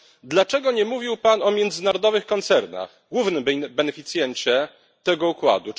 Dlaczego nie mówił Pan o międzynarodowych koncernach, głównym beneficjencie tego układu?